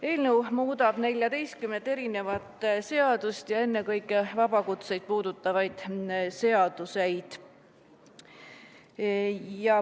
Eelnõu muudab 14 seadust, ennekõike vabakutseid puudutavaid seaduseid.